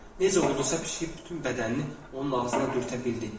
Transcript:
Necə oldusa pişik bütün bədənini onun ağzına dürtə bildi.